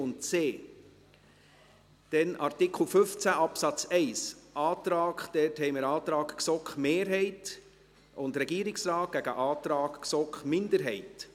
Wir haben hierzu einen Antrag der GSoK-Mehrheit und des Regierungsrates gegen einen Antrag der GSoK-Minderheit.